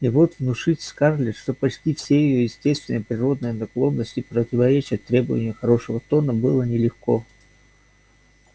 и вот внушить скарлетт что почти все её естественные природные наклонности противоречат требованию хорошего тона было нелегко